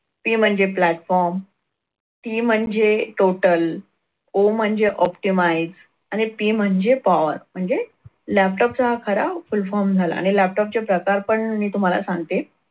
P म्हणजे platformT म्हणजे totalO म्हणजे optimize आणि P म्हणजे power म्हणजे laptop चा हा खरा full form झाला आणि laptop चे प्रकार पण मी तुम्हाला सांगते.